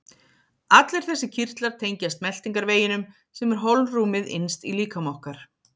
Allir þessir kirtlar tengjast meltingarveginum sem er holrúmið innst í líkama okkar.